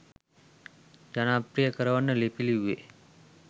ජනප්‍රිය කරවන්න ලිපි ලිව්වේ?